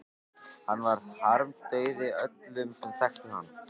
Hann varð harmdauði öllum sem þekktu hann.